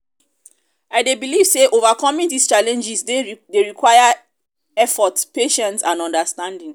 i dey believe say overcoming these challenges dey require effort patience and understanding.